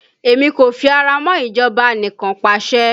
Èmi kò fi ara mọ́ ìjọba anikanpasẹ̀